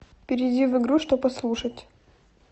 перейди в игру что послушать